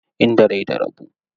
In da rai da rabo.